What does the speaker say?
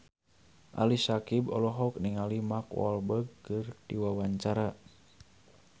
Ali Syakieb olohok ningali Mark Walberg keur diwawancara